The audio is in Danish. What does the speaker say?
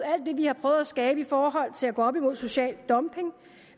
alt det vi har prøvet at skabe i forhold til at gå op imod social dumping